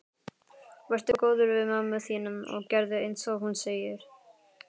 Vertu góður við mömmu þína og gerðu einsog hún segir.